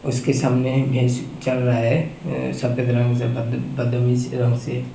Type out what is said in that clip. उसके सामने भैस चर रहा हैसफ़ेद रंग से बद बदमिस रंग से --